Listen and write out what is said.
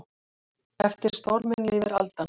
Eftir storminn lifir aldan.